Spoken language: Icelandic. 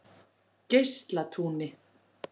Geislatúni